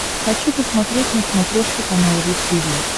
хочу посмотреть на смотрешке канал ру ти ви